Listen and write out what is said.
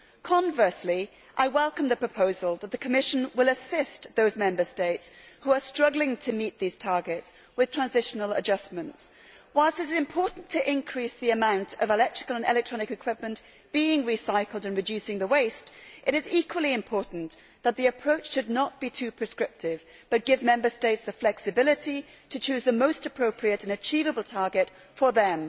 Conversely, I welcome the proposal that the Commission will assist those Member States who are struggling to meet the targets, with transitional adjustments. While it is important to increase the amount of EEE being recycled and to reduce the waste, it is equally important that the approach should not be too prescriptive but should give Member States the flexibility to choose the most appropriate and achievable target for them.